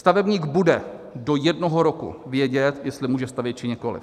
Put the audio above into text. Stavebník bude do jednoho roku vědět, jestli může stavět, či nikoliv.